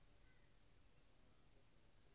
.